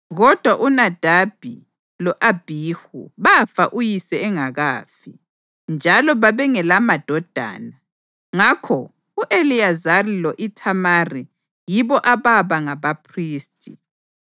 Kodwa uNadabi lo-Abhihu bafa uyise engakafi, njalo babengelamadodana; ngakho u-Eliyazari lo-Ithamari yibo ababa ngabaphristi.